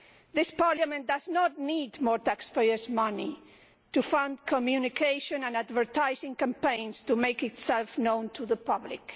This Parliament does not need more taxpayers' money to fund communication and advertising campaigns to make itself known to the public.